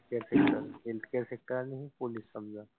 Healthcare sector आणि police समजा.